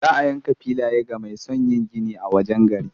Za a yanka filaye ga mai son yin gini a wajen gari.